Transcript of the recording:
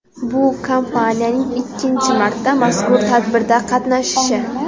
Bu kompaniyaning ikkinchi marta mazkur tadbirda qatnashishi.